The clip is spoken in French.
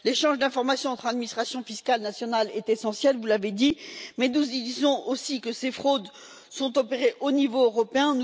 L'échange d'informations entre les administrations fiscales nationales est essentiel, vous l'avez dit, mais nous disons aussi que ces fraudes sont opérées au niveau européen.